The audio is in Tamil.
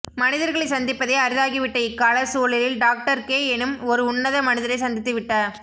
மனிதர்களைச் சந்திப்பதே அரிதாகிவிட்ட இக்கால சூழலில்டாக்டர் கே எனும் ஓர் உன்னத மனிதரைச் சந்தித்துவிட்ட